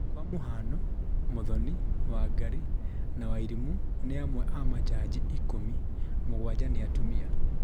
kwa mũhano Muthoni, Wangari na wairimu ni amwe a majaji ikũmi, mũgwanja nĩ atumia